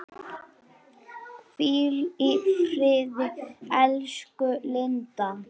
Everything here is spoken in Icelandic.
Hvíl í friði, elsku Linda.